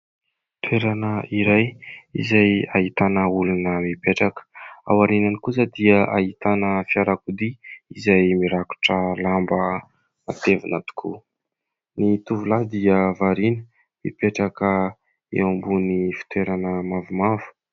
Toerana iray izay ahitana olona mipetraka, ao aoriany kosa dia ahitana fiarakodia izay mirakotra lamba matevina tokoa. Ny tovolahy dia variana mipetraka eo ambony fitoerana mavomavo.